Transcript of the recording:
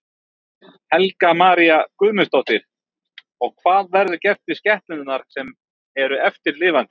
Helga María Guðmundsdóttir: Og hvað verður gert við skepnurnar sem eru eftir lifandi?